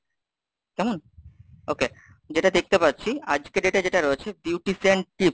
কেমন? okay, যেটা দেখতে পাচ্ছি আজকের date এ যেটা রয়েছে Beautician Tips,